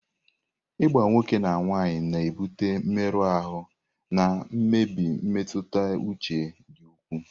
Ịgba nwoke na nwaanyị na-ebute mmerụ ahụ na mmebi mmetụta uche dị ukwuu.